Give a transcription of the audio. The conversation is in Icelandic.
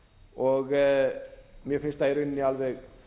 og mér finnst það í rauninni alveg